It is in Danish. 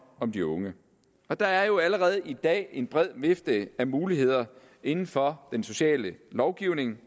om de unge der er jo allerede i dag en bred vifte af muligheder inden for den sociale lovgivning